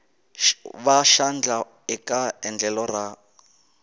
va xandla eka endlelo ra